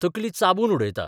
तकली चाबून उडयता.